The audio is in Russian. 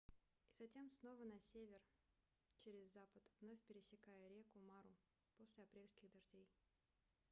и затем снова на север через запад вновь пересекая реку мару после апрельских дождей